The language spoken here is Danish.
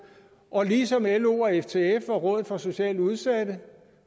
og ligesom lo og ftf og rådet for socialt udsatte